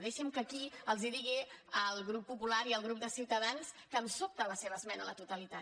deixin que aquí els digui al grup popular i al grup de ciutadans que em sobta la seva esmena a la totalitat